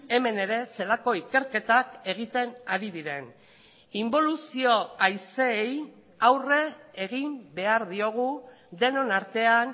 hemen ere zelako ikerketak egiten ari diren inboluzio haizeei aurre egin behar diogu denon artean